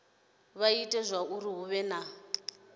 ita zwauri hu vhe na